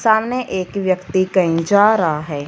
सामने एक व्यक्ति कहीं जा रहा है।